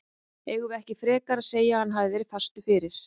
Eigum við ekki frekar að segja að hann hafi verið fastur fyrir?